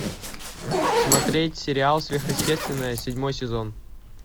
смотреть сериал сверхъестественное седьмой сезон